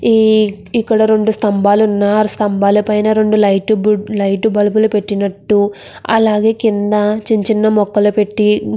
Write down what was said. ఇక్కడ రెండు స్తంబాలు వున్నాయ్. ఆ స్తంబాల పైన రెండు లైట్ బల్లుబులు పెటినట్టు అలాగే కింద చిన్న చిన్న మొక్కలు పెట్టి --